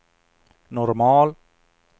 normal